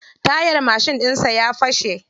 Tayar mashin ɗinsa ya fashe.